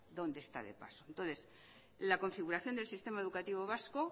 dónde está de paso entonces la configuración del sistema educativo vasco